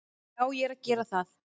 Já, ég er að gera það.